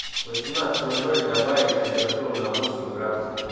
в восемнадцать ноль ноль добавить температуру на восемь градусов